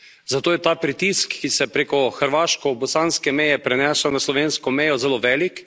zato je ta pritisk, ki se preko hrvaško bosanske meje prenese na slovensko mejo zelo velik.